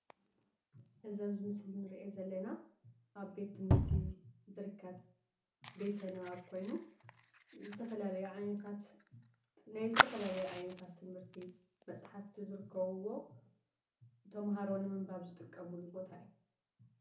እዚ ኣብ ምስሊ ንርኡ ዘለና ኣብ ቤት ትምህርቲ ዝርከብ ቤተ ንባብ ኮይኑ ዝተፈላለዩ ዓይነታት ናይ ዝተፈላለዩ ዓይነታት ትምህርቲ መፃሓፍቲ ዝርከብዎ ተማሃሩ ንምንባብ ዝጥቀምሉ ቦታ እዩ።